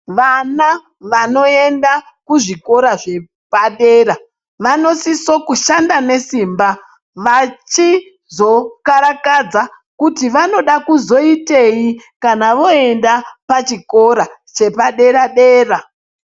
Vana vanoenda kuzvikora zvepadera vanosiso kushanda nesimba vachizokarakadza kuti vanoda kuzoitei kana voenda pachikora chepadera-dera.